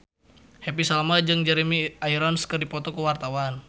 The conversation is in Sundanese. Happy Salma jeung Jeremy Irons keur dipoto ku wartawan